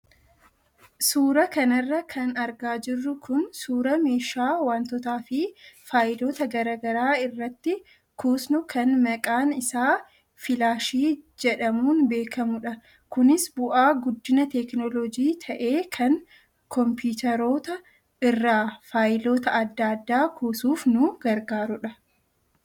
Suuraa kanarra kan argaa jirru kun suuraa meeshaa wantootaa fi faayiloota garaagaraa irratti kuusnu kan maqaan isaa filaashii jedhamuun beekamudha. Kunis bu'aa guddina teekinooloojii ta'ee kan kompiitaroota irraa faayiloota adda addaa kuusuuf nu gargaarudha.